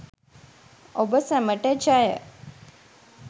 ඔබ සැමට ජය